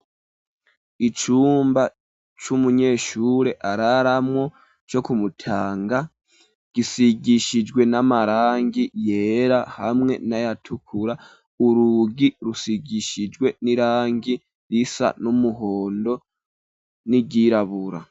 Icumba, c'umunyeshure araramwo, co ku Mutanga, gisigishijwe n'amarangi yera, hamwe n'ayatukura; urugi rusigishijwe n'irangi, risa n'umuhondo, n'iryirabura.